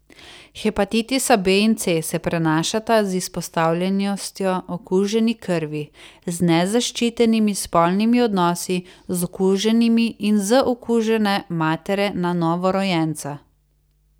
Hepatitisa B in C se prenašata z izpostavljenostjo okuženi krvi, z nezaščitenimi spolnimi odnosi z okuženimi in z okužene matere na novorojenca.